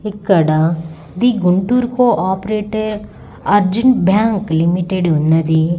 ఇక్కడ ఇది Guntur cooperative Arjun bank limited ఉన్నది.